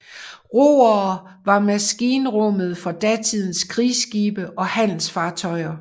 Roere var maskinrummet for datidens krigsskibe og handelsfartøjer